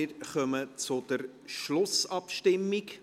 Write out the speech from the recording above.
Wir kommen zur Schlussabstimmung.